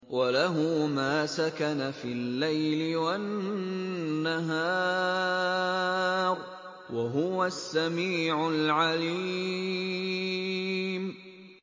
۞ وَلَهُ مَا سَكَنَ فِي اللَّيْلِ وَالنَّهَارِ ۚ وَهُوَ السَّمِيعُ الْعَلِيمُ